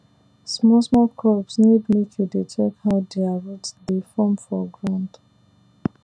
small small crops need make you dey check how their root dey form for ground